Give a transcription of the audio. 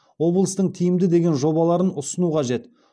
облыстың тиімді деген жобаларын ұсыну қажет